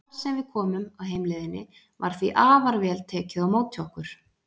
Hvar sem við komum á heimleiðinni var því afar vel tekið á móti okkur.